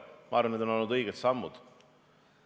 Ma arvan, et need kõik on olnud õiged sammud.